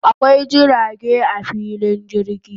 Akwai jirage a filin jirgi